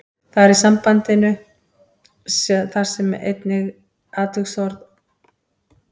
Þar í sambandinu þar sem er einnig atviksorð og táknar dvöl á stað.